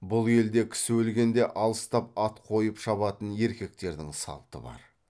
бұл елде кісі өлгенде алыстап ат қойып шабатын еркектердің салты бар